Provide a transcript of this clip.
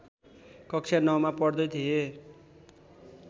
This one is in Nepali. कक्षा नौमा पढ्दै थिए